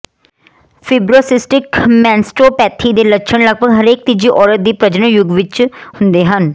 fibrocystic mastopathy ਦੇ ਲੱਛਣ ਲਗਭਗ ਹਰੇਕ ਤੀਜੀ ਔਰਤ ਦੀ ਪ੍ਰਜਨਨ ਯੁੱਗ ਵਿੱਚ ਹੁੰਦੇ ਹਨ